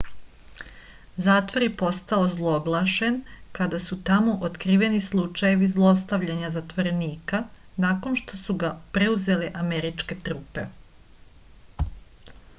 zatvor je postao ozloglašen kada su tamo otkriveni slučejevi zlostavljanja zatvorenika nakon što su ga preuzele američke trupe